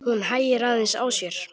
Hún hægir aðeins á sér.